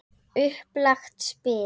Upplagt spil.